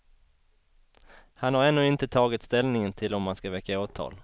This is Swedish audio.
Han har ännu inte tagit ställning till om han ska väcka åtal.